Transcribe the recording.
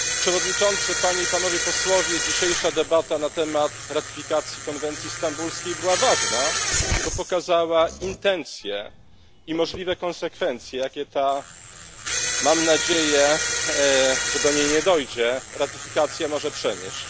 Panie Przewodniczący! Panie i Panowie! Dzisiejsza debata na temat ratyfikacji konwencji stambulskiej była ważna, bo pokazała intencje i możliwe konsekwencje, jakie ta mam nadzieję, że do niej nie dojdzie ratyfikacja może przynieść.